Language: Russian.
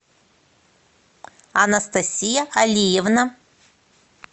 анастасия алиевна